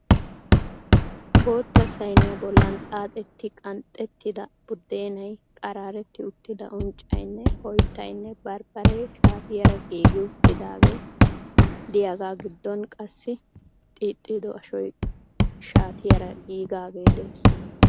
Bootta sayniyaa bollan xaaxetti qanxettida buddeenay, qaraaretti uttida uncbaynne oyttaynne bambbaree shaatiyaara giigi uttidaagee diyaagaa giddon qassi xiixxido ashoy shaatiyaara giigaage de'ees.